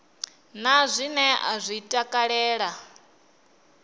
na zwine a zwi takalela